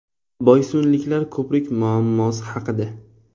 Boysunliklar ko‘prik muammosi haqida.